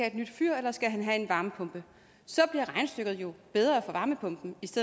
et nyt fyr eller en varmepumpe så bliver regnestykket jo bedre for varmepumpen